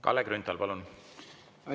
Kalle Grünthal, palun!